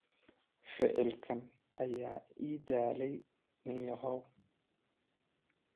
Ficilkaaga ayaa i daalay ninyahow.